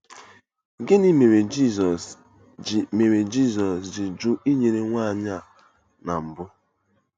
Gịnị mere Jizọs ji mere Jizọs ji jụ inyere nwanyị a ná mbụ?